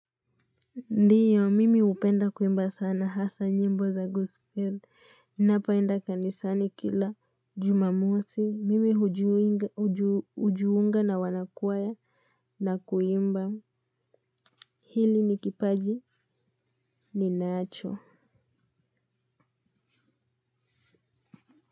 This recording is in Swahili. Ndiyo mimi hupenda kuimba sana hasa nyimbo za gospel ninapoenda kanisani kila jumamosi mimi hujiunga na wanakwaya na kuimba hili ni kipaji ninacho.